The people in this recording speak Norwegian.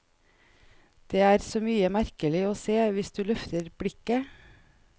Det er så mye merkelig å se hvis du løfter blikket.